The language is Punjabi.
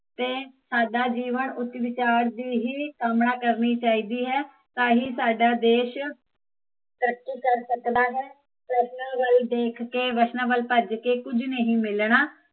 ਤੇ ਸਾਦਾ ਜੀਵਨ ਉੱਚ ਵਿਚਾਰ ਦੀ ਹੀਂ ਕਾਮਨਾ ਕਰਨੀ ਚਾਹੀਦੀ ਹੈ ਟਾਂ ਹੀਂ ਸਾਦਾ ਦੇਸ਼ ਤਰੱਕੀ ਕਰ ਸਕਦਾ ਹੈ ਫ਼ੈਸ਼ਨਾ ਵੱਲ ਦੇਖ ਕੇ, ਫ਼ੈਸ਼ਨਾ ਵੱਲ ਭੱਜ ਕੇ ਕੁਜ ਨਹੀਂ ਮਿਲਣਾ